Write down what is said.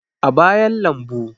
a bayan lambu